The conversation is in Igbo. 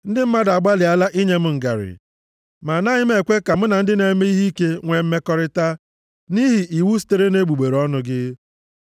Ndị mmadụ agbalịala inye m ngarị ma anaghị m ekwe ka mụ na ndị na-eme ihe ike nwee mmekọrịta nʼihi iwu sitere nʼegbugbere ọnụ gị.